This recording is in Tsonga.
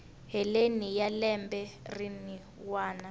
heleni ka lembe rin wana